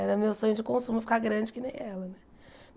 Era meu sonho de consumo ficar grande que nem ela, né?